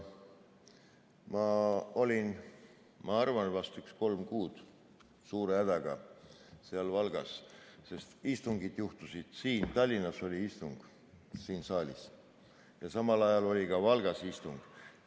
Ma olin, ma arvan, umbes kolm kuud suure hädaga seal Valgas, sest juhtus nii, et Tallinnas oli istung siin saalis ja samal ajal oli ka Valgas istung.